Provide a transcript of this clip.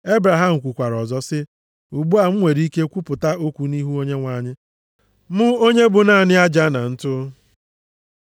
Ebraham kwukwara ọzọ sị, “Ugbu a m nwere ike kwuwapụta okwu nʼihu Onyenwe anyị, mụ onye bụ naanị aja na ntụ.